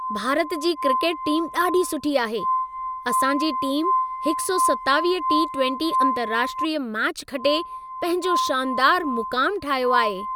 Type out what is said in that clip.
भारत जी cricket team ॾाढी सुठी आहे। असां जी टीम 127 टी20 अंतर्राष्ट्रीय मैच खटे पंहिंजो शानदारु मुक़ामु ठाहियो आहे।